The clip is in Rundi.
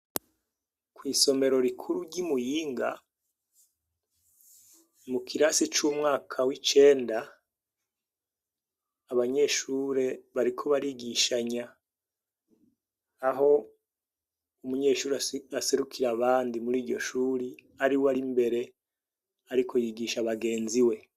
Kw'isomero rikuru ry'i Muyinga mu kirasi c'umwaka w'icenda, abanyeshure bariko barigishanya aho umunyeshure aserukira abandi muri iryo shure ari we ari mbere ariko yigisha bagenzi we.